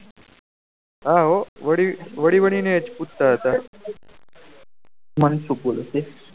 હા હો વળી વળી ને એહ પૂછતા હતા